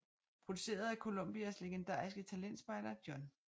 Produceret af Columbias legendariske talentspejder John H